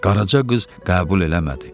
Qaraca qız qəbul eləmədi.